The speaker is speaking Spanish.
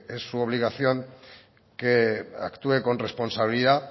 es su obligación que actúe con responsabilidad